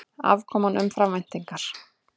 Afkoman umfram væntingar